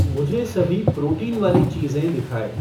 मुझे सभी प्रोटीन वाली चीज़ें दिखाएँ